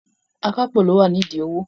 Akápò ló wà ní ìdí owó.